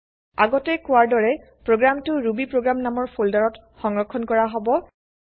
আগতে কোৱাৰ দৰে প্ৰগ্ৰেমটো160 ৰুবি প্ৰগ্ৰাম নামৰ ফোল্ডাৰত160 সংৰক্ষন কৰা হব160